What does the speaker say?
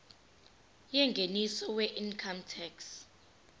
yengeniso weincome tax